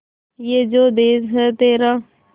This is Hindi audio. ये जो देस है तेरा